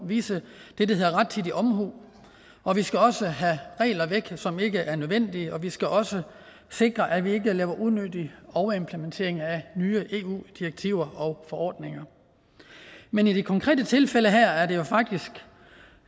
vise det der hedder rettidig omhu og vi skal også have regler væk som ikke er nødvendige og vi skal også sikre at vi ikke laver unødig overimplementering af nye eu direktiver og forordninger men i det konkrete tilfælde her er det jo faktisk